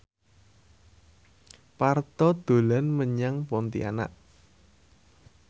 Parto dolan menyang Pontianak